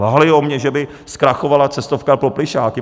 Lhali o mě, že mi zkrachovala cestovka pro plyšáky.